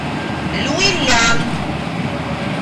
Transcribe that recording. люйлян